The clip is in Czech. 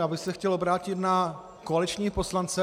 Já bych se chtěl obrátit na koaliční poslance.